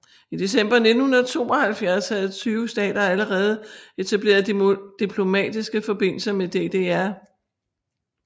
I december 1972 havde 20 stater allerede etableret diplomatiske forbindelser med DDR